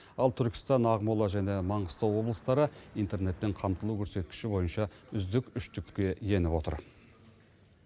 ал түркістан ақмола және маңғыстау облыстары интернетпен қамтылу көрсеткіші бойынша үздік үштікке еніп отыр